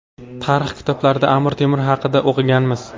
Tarix kitoblarida Amir Temur haqida o‘qiganmiz.